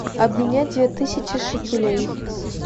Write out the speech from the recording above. обменять две тысячи шекелей